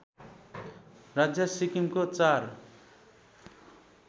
राज्य सिक्किमको चार